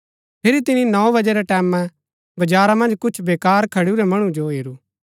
फिरी तिनी नौ बजे रै टैमैं बजारा मन्ज कुछ बेकार खडुरै मणु जो हेरू